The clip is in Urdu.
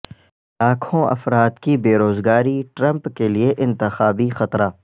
لاکھوں افراد کی بیروزگاری ٹرمپ کے لیے انتخابی خطرہ